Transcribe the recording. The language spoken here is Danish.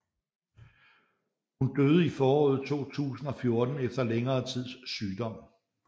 Hun døde i foråret 2014 efter længere tids sygdom